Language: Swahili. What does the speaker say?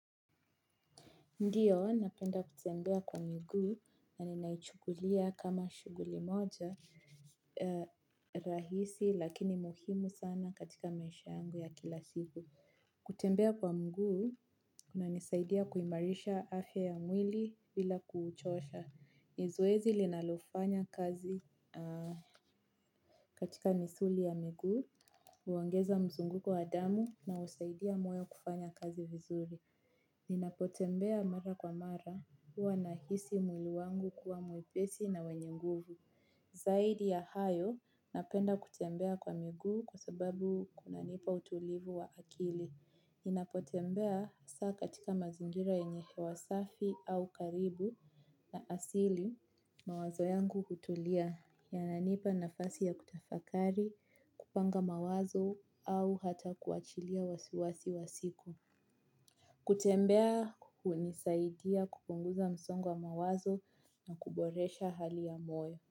Ndiyo, napenda kutembea kwa miguu na ninaichukulia kama shuguli moja rahisi lakini muhimu sana katika maisha yangu ya kila siku. Kutembea kwa mguu, kuna nisaidia kuimarisha afya ya mwili bila kuuchosha. Nizwezi linalofanya kazi katika misuli ya miguu, uongeza mzunguko wa damu na usaidia mwoyo kufanya kazi vizuri. Ninapotembea mara kwa mara huwa na hisi mwili wangu kuwa mwepesi na wenye nguvu. Zaidi ya hayo napenda kutembea kwa miguu kwa sababu kuna nipa utulivu wa akili. Ninapotembea saa katika mazingira yenye hewa safi au karibu na asili mawazo yangu hutulia. Yananipa nafasi ya kutafakari, kupanga mawazo au hata kuachilia wasiwasi wa siku. Kutembea kuhunisaidia kupunguza msongo wa mawazo na kuboresha hali ya moyo.